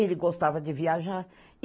Ele gostava de viajar.